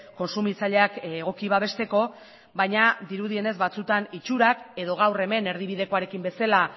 kontsumitzaileak egoki babesteko baina dirudienez batzuetan itxurak edo gaur hemen erdibidekoarekin bezala